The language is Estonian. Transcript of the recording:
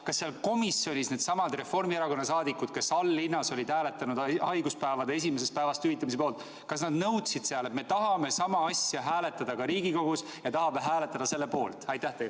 Kas seal komisjonis needsamad Reformierakonna liikmed, kes all-linnas olid hääletanud haiguspäevade esimesest päevast hüvitamise poolt, nõudsid, et nad tahavad sama asja hääletada ka Riigikogus ja tahavad hääletada selle poolt?